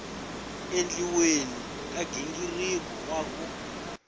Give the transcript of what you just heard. endliweni ka nghingiriko wa ku